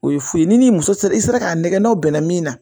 O ye fu ye ni muso sera i sera k'a nɛgɛ n'aw bɛnna min na